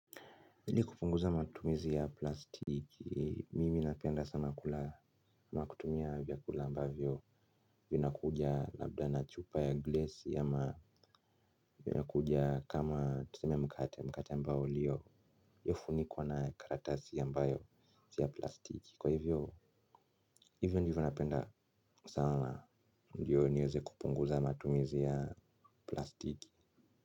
Hili kupunguza matumizi ya plastiki mimi napenda sana kula ama kutumia vyakula ambavyo vinakuja labda na chupa ya glesi ama vinakuja kama tuseme mkate mkate ambao uliyofunikwa na karatasi ya ambayo si ya plastiki kwa hivyo, hivyo ndivyo napenda sana ndio niweze kupunguza matumizi ya plastiki.